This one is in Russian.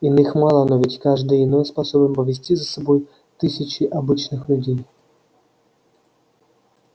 иных мало но ведь каждый иной способен повести за собой тысячи обычных людей